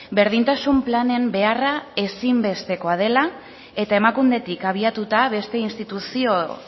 berdintasun planen beharra ezin bestekoa dela eta emakundetik abiatuta beste instituzio